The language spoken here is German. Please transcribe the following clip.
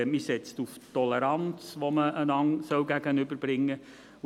Man setzt auf Toleranz, die man einander entgegenbringen soll.